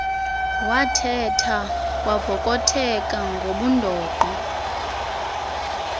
wathetha kwavokotheka ngobundoqo